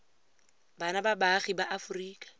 bana ba baagi ba aforika